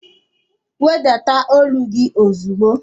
Wedata ólú gị ozigbo!